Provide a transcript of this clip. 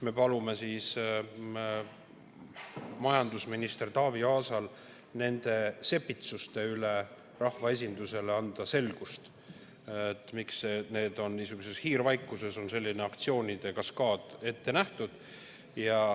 Me palume majandusminister Taavi Aasal nende sepitsuste kohta rahvaesindusele selgitust anda, et miks niisuguses hiirvaikuses on selline aktsioonide kaskaad ette nähtud.